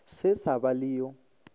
se sa ba le yo